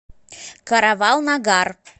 каравал нагар